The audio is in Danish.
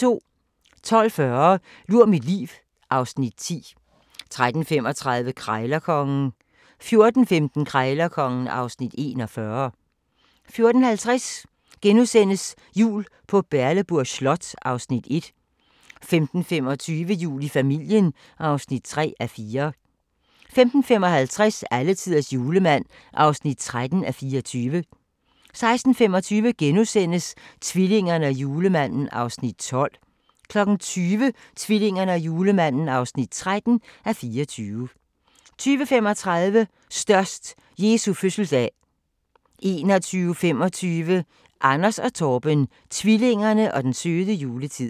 12:40: Lur mit liv (Afs. 10) 13:35: Krejlerkongen 14:15: Krejlerkongen (Afs. 41) 14:50: Jul på Berleburg Slot (Afs. 1)* 15:25: Jul i familien (3:4) 15:55: Alletiders julemand (13:24) 16:25: Tvillingerne og julemanden (12:24)* 20:00: Tvillingerne og julemanden (13:24) 20:35: Størst - Jesu fødselsdag 21:25: Anders & Torben - tvillingerne og den søde juletid